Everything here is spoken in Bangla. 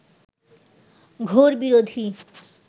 ঘোর বিরোধী